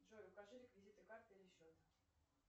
джой укажи реквизиты карты или счет